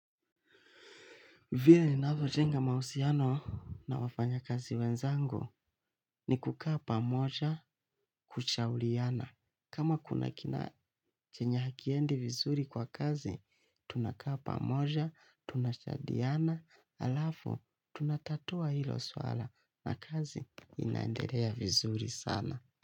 Vile navyo jenga mausiano na wafanya kazi wenzangu ni kukaa pamoja kushauliana. Kama kuna kina chenye hakiendi vizuri kwa kazi, tunakaa pamoja, tunasadiana, alafu, tunatatua hilo swala na kazi inaendelea vizuri sana.